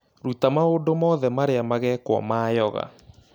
Ruta maũndũ marĩa mothe magekwo ma yoga